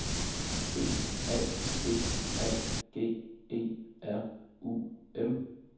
B A G A G E R U M